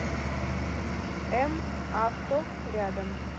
м авто рядом